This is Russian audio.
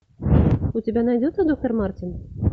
у тебя найдется доктор мартин